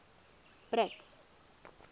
brits